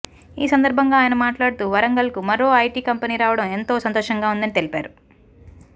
ఈ సందర్భంగా ఆయన మాట్లాడుతూ వరంగల్కు మరో ఐటీ కంపెనీ రావడం ఎంతో సంతోషంగా ఉందని తెలిపారు